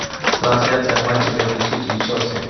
трансляция матча между сити и челси